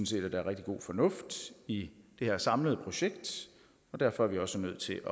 set at der er rigtig god fornuft i det her samlede projekt og derfor er vi også nødt til